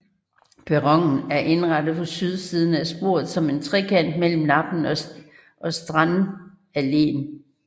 Perronen er indrettet på sydsiden af sporet som en trekant mellem Lappen og Strandalleen